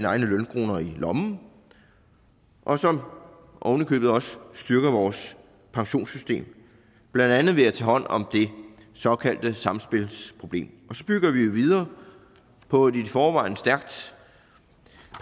egne lønkroner i lommen og som ovenikøbet også styrker vores pensionssystem blandt andet ved at tage hånd om det såkaldte samspilsproblem så bygger vi jo videre på et i forvejen stærkt